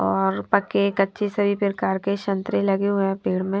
और पक्के कच्चे सभी प्रकार के संतरे लगे हुए हैं पेड़ में --